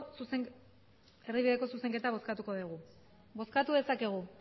zuzenketa bozkatuko dugu bozkatu dezakegu